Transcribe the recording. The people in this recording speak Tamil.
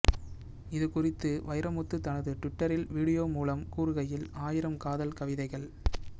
இதுகுறித்து வைரமுத்து தனது ட்விட்டரில் வீடியோ மூலம் கூறுகையில் ஆயிரம் காதல் கவிதைகள்